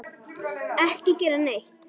Ekki gera neitt.